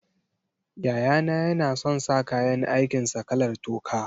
Yayana yana son sa kayan aikin sa kalar toka.